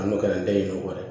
A n'o kɛra n te ɲin'o ye